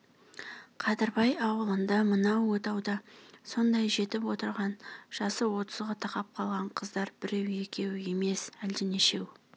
қадырбай аулында мынау отауда сондай жетіп отырған жасы отызға тақап қалған қыздар біреу-екеу емес әлденешеу